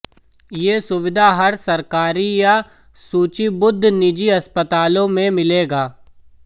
ये सुविधा हर सरकारी या सूचीबद्ध निजी अस्पतालों में मिलेगा